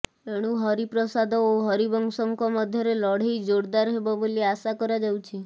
ଏଣୁ ହରିପ୍ରସାଦ ଓ ହରିବଂଶଙ୍କ ମଧ୍ୟରେ ଲଢେଇ ଜୋରଦାର ହେବ ବୋଲି ଆଶା କରାଯାଉଛି